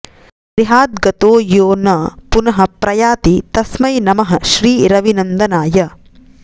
गृहाद् गतो यो न पुनः प्रयाति तस्मै नमः श्रीरविनन्दनाय